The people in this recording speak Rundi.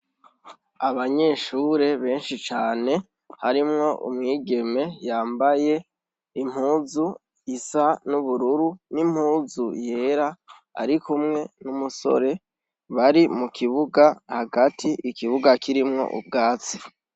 Abanyeshure benshi cane harimwo umwigeme yambaye impuzu isa n'ubururu n'impuzu yera ari kumwe n'umusore bari mu kibuga hagati ikibuga kirimwo ubwatsi.